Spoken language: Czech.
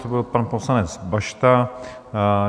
To byl pan poslanec Bašta.